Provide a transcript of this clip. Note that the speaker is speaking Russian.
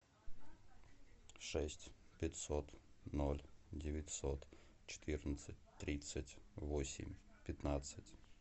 шесть пятьсот ноль девятьсот четырнадцать тридцать восемь пятнадцать